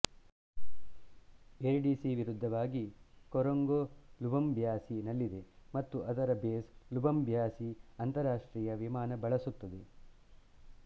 air D C ವಿರುದ್ಧವಾಗಿ Korongo Lubumbashi ನಲ್ಲಿದೆ ಮತ್ತು ಅದರ ಬೇಸ್ ಲೂಬಂಬ್ಯಾಶಿ ಅಂತರರಾಷ್ಟ್ರೀಯ ವಿಮಾನ ಬಳಸುತ್ತದೆ